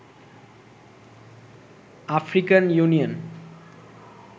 African union